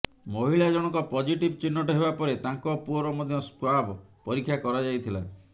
ମହିଳା ଜଣକ ପଜିଟିଭ୍ ଚିହ୍ନଟ ହେବା ପରେ ତାଙ୍କ ପୁଅର ମଧ୍ୟ ସ୍ୱାବ ପରୀକ୍ଷା କରାଯାଇଥିଲା